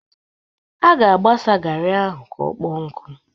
A ga-agbasa garị ahụ ka ọkpọọ nkụ.